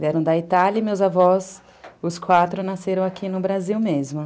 Vieram da Itália e meus avós, os quatro, nasceram aqui no Brasil mesmo.